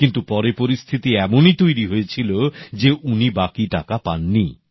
কিন্তু পরে পরিস্থিতি এমনই তৈরি হয়েছিল যে উনি বাকি টাকা পাননি